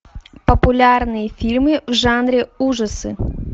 популярные фильмы в жанре ужасы